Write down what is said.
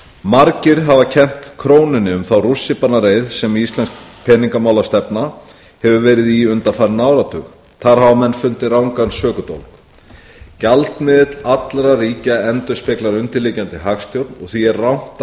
margir hafa kennt krónunni um þá rússíbanareið sem íslensk peningamálastefna hefur verið í undanfarinn áratug þar hafa menn fundið rangan sökudólg gjaldmiðill allra ríkja endurspeglar undirliggjandi hagstjórn og því er rangt